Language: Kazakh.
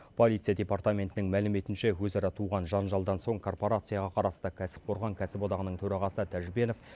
полиция департаментінің мәліметінше өзара туған жанжалдан соң корпорацияға қарасты кәсіпқорған кәсіподағының төрағасы тәжбенов